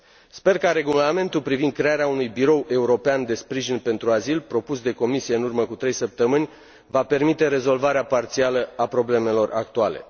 Sper că Regulamentul privind crearea unui birou european de sprijin pentru azil, propus de Comisie în urmă cu trei săptămâni, va permite rezolvarea parțială a problemelor actuale.